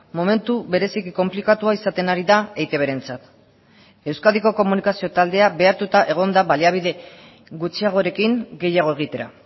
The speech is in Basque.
momentu bereziki konplikatua izaten ari da eitbrentzat euskadiko komunikazio taldea behartuta egon da baliabide gutxiagorekin gehiago egitera